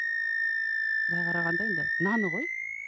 былай қарағанда енді наны ғой